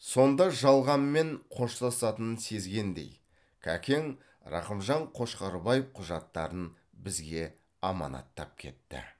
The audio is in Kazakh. сонда жалғанмен қоштасатынын сезгендей кәкең рақымжан қошқарбаев құжаттарын бізге аманаттап кетті